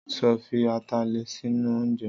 Sọ fi atalẹ̀ sínú oúnjẹ?